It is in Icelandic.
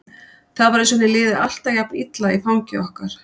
Það var eins og henni liði alltaf jafn illa í fangi okkar.